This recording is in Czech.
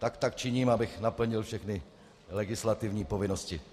Tak tak činím, abych naplnil všechny legislativní povinnosti.